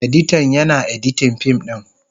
Editan, Yana editin fim din.